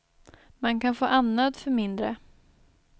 Man kan få andnöd för mindre.